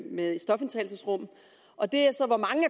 med stofindtagelsesrum og det er så hvor mange